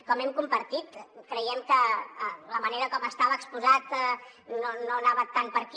com hem compartit creiem que la manera com estava exposat no anava tant per aquí